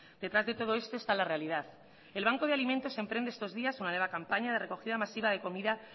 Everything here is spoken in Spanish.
detrás de todo esto está la realidad el banco de alimentos emprende estos días una nueva campaña de recogida masiva de comida